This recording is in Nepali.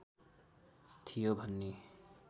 थियो भन्ने